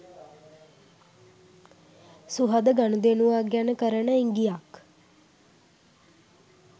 සුහද ගනුදෙනුවක් ගැන කරන ඉඟියක්